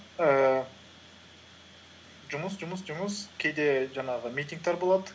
ііі жұмыс жұмыс жұмыс кейде жаңағы митингтер болады